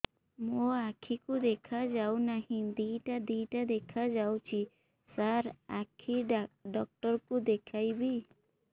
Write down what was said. ମୋ ଆଖିକୁ ଦେଖା ଯାଉ ନାହିଁ ଦିଇଟା ଦିଇଟା ଦେଖା ଯାଉଛି ସାର୍ ଆଖି ଡକ୍ଟର କୁ ଦେଖାଇବି